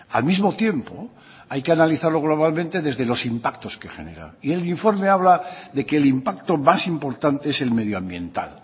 al mismo tiempo hay que analizarlo globalmente desde los impactos que genera y el informe habla de que el impacto más importante es el medioambiental